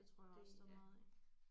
Det tror jeg også der er meget af